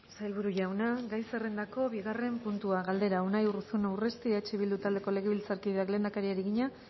sailburu jauna gai zerrendako bigarren puntua galdera unai urruzuno urresti eh bildu taldeko legebiltzarkideak lehendakariari egina